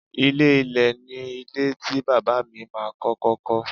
Ilé ilẹ̀ ni ilé tí Bàbá mi ma kọ́kọ́ kọ́.